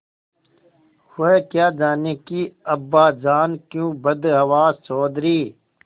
वह क्या जानें कि अब्बाजान क्यों बदहवास चौधरी